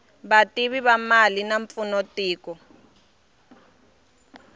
vativi va mali va pfuna tiko